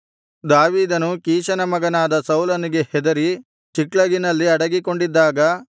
ದಾವೀದನು ಕೀಷನ ಮಗನಾದ ಸೌಲನಿಗೆ ಹೆದರಿ ಚಿಕ್ಲಗಿನಲ್ಲಿ ಅಡಗಿಕೊಂಡಿದ್ದಾಗ